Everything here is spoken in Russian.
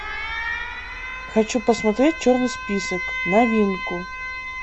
хочу посмотреть черный список новинку